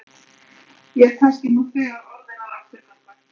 Ég er kannski nú þegar orðinn að afturgöngu.